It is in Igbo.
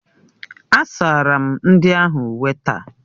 Asara m ndị ahụ uwe taa.